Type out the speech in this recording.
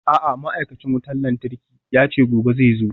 A'a ma'aikacin wutar lantarki yace gobe zai zo.